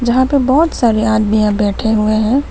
जहां पे बहुत सारे आदमीया बैठे हुए हैं।